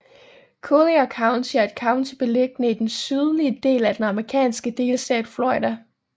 Collier County er et county beliggende i den sydlige del af den amerikanske delstat Florida